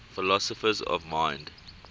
philosophers of mind